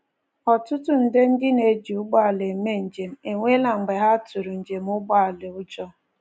Ọtụtụ nde ndị na-eji ụgbọelu eme njem enwela mgbe ha tụrụ njem ụgbọelu ụjọ.